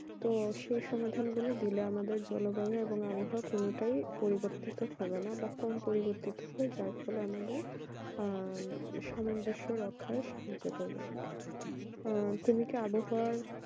তো সে সমাধান গুলি আমাদেরকে দিলে আমাদের জলবায়ু আবহাওয়া কোনোটাই পরিবর্তন হবে না তারপরে আমাদের আহ সমাজ অংশ রক্ষা সাহায্য করবে উম তুমি কি আবহাওয়া